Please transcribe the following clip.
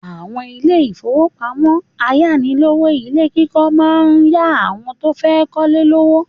Àwọn ilé-ìfowópamọ́sí ayánilówó ilé kíkọ́ máa ń yá àwọn tó fẹ́ kọ́lé lówó.